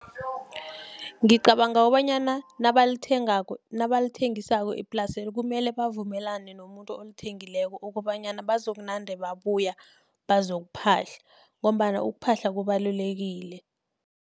Ngicabanga kobanyana nabalithengisako iplaselo, kumele bavumelane nomuntu olithengileko, okobanyana bazokunande babuya bazokuphahla, ngombana ukuphahla kubalulekile.